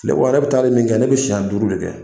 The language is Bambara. yɛrɛ bɛ taali min kɛ ne bɛ siɲɛ duuru de kɛ